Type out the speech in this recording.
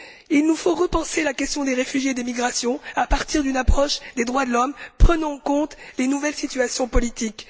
Il nous faut repenser la question des réfugiés et des migrations à partir d'une approche des droits de l'homme prenant en compte les nouvelles situations politiques.